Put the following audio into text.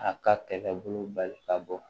A ka kɛlɛbolo bali ka bɔ